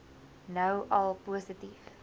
nou al positief